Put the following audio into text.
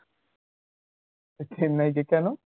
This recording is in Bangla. তো চেন্নাই কে কেন?